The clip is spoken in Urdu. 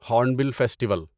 horn bill festival